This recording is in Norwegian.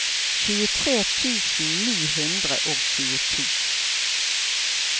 tjuetre tusen ni hundre og tjueto